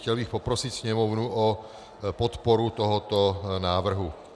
Chtěl bych poprosit Sněmovnu o podporu tohoto návrhu.